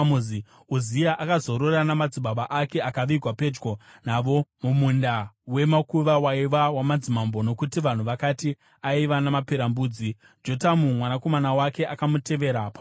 Uzia akazorora namadzibaba ake akavigwa pedyo navo mumunda wemakuva waiva wamadzimambo, nokuti vanhu vakati, “Aiva namaperembudzi.” Jotamu mwanakomana wake akamutevera paumambo.